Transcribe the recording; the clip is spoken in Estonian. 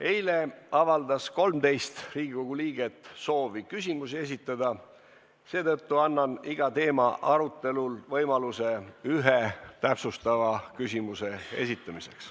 Eile avaldas 13 Riigikogu liiget soovi küsimusi esitada, seetõttu annan iga teema arutelul võimaluse ühe täpsustava küsimuse esitamiseks.